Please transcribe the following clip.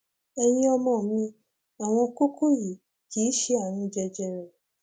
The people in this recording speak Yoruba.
ẹyin ọmọ mi àwọn kókó yìí kì í ṣe ààrùn jẹjẹrẹ